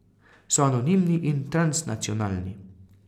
So anonimni in transnacionalni.